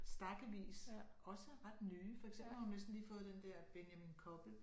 Stakkevis også ret nye for eksempel har hun næsten lige fået den der Benjamin Koppel